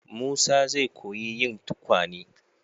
Musa zai koyi yin tukwane.